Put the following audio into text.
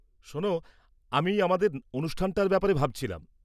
শোনো, আমি আমাদের অনুষ্ঠানটার ব্যাপারে ভাবছিলাম।